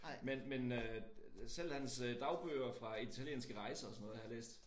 Men men øh selv hans øh dagbøger fra italienske rejser og sådan noget har jeg læst